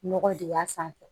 Nɔgɔ dig'a sanfɛ